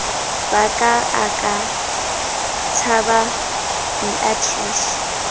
ba ka a ka tshababeatrice